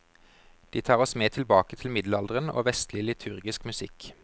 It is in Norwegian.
De tar oss med tilbake til middelalderen og vestlig liturgisk musikk.